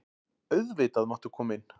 Auðvitað máttu koma inn.